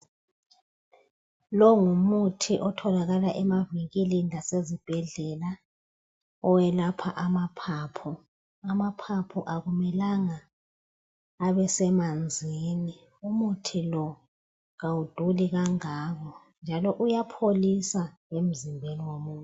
lowu ngumuthi otholakala emavinkili lasezibhedlela owelapha amaphaphu amaphaphu akumelanga abe semanzini umuthi lo kawuduli kangako njalo uyapholisa lemzimbeni womuntu